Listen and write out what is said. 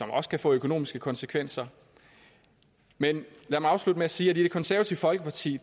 også kan få økonomiske konsekvenser men lad mig afslutte med at sige at i det konservative folkeparti